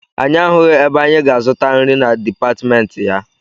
Anyị ahụghị ebe anyị ga-azụta nri na dipatịmentị ya.